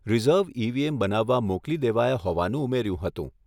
Reserve EVM બનાવવા મોકલી દેવાયા હોવાનું ઉમેર્યું હતું.